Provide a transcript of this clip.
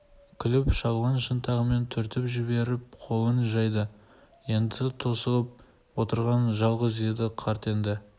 күліп шалын шынтағымен түртіп жіберіп қолын жайды енді тосылып отырған жалғыз еді қарт енді